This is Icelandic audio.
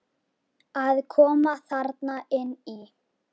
Að koma þarna inn í?